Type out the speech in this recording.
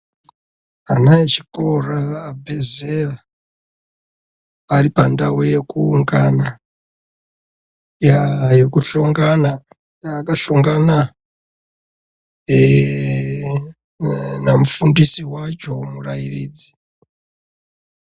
Ana echikora abve zera ari pandau yekuungana yaa yekuhlongana akahlongana namufundisi wacho murairidzi.